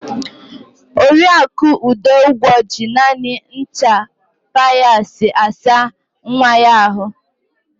Oriaku Udungwo ji naanị ncha Piasi asa nwa ya àhụ́.